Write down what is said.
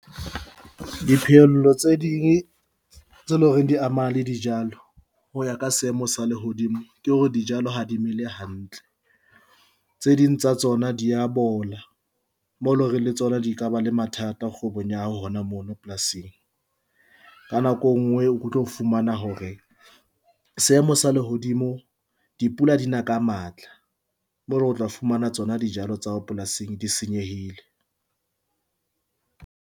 Diphehello tse ding tse leng hore di ama le dijalo ho ya ka seemo sa lehodimo ke hore dijalo ha di mele hantle. Tse ding tsa tsona di ya bola mo lo reng le tsona di ka ba le mathata kgwebong ya hao hona mono polasing. Ka nako e nngwe o tlo fumana hore seemo sa lehodimo, dipula di na ka matla moo re tla fumana tsona dijalo tsa hao polasing di senyehile.